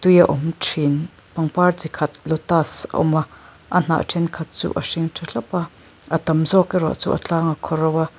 a awm ṭhîn pangpar chi khat lotus a awm a a hnah ṭhenkhat chu a hring ṭha thlap a a tam zawk erawh chu a tlang a khaw ro a.